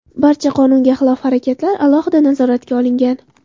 Barcha qonunga xilof harakatlar alohida nazoratga olingan.